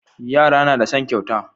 Yara nada son kyauta